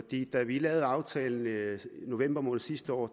da vi lavede aftalen i november måned sidste år